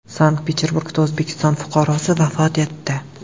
Sankt-Peterburgda O‘zbekiston fuqarosi vafot etdi.